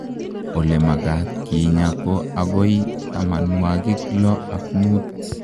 olemakat kinyaa ko agoi tamanwagik loo ak muut.